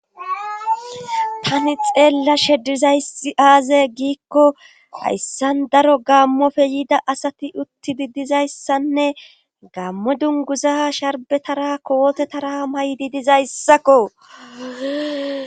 tani xeellashe dizayssi aaze giikko hayssan daro gammofe yiida asati utti didizayssanne gaamme dunguza sharbetara kootetara maydi dizayssakko